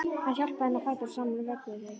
Hann hjálpaði henni á fætur og saman vögguðu þau: